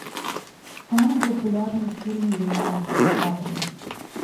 самый популярный фильм леонардо ди каприо